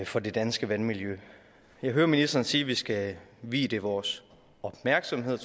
for det danske vandmiljø jeg hører ministeren sige at vi skal vie det vores opmærksomhed